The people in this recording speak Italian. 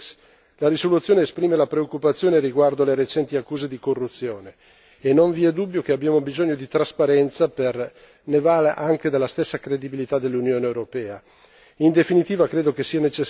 E infine, in merito alla missione Eulex, la risoluzione esprime la preoccupazione riguardo alle recenti accuse di corruzione e non vi è dubbio che abbiamo bisogno di trasparenza ne va anche della stessa credibilità dell'Unione europea.